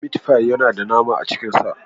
Mit fi yana da nama a cikin sa.